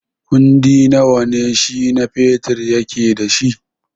Kundi nawa ne Shina Peters yake da shi?